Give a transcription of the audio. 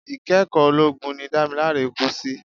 Ikẹ́kọ̀ọ́ ológun ni Damilare kú sí.